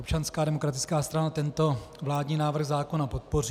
Občanská demokratická strana tento vládní návrh zákona podpoří.